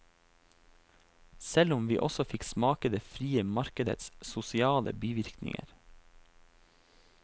Selv om vi også fikk smake det frie markedets sosiale bivirkninger.